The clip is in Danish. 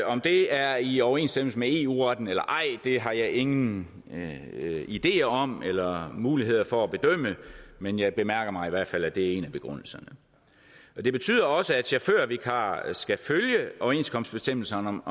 om det er i overensstemmelse med eu retten eller ej har jeg ingen ideer om eller muligheder for at bedømme men jeg bemærker mig i hvert fald at det er en af begrundelserne det betyder også at chaufførvikarer skal følge overenskomstbestemmelserne om